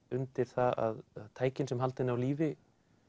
undir það að tækin sem halda henni á lífi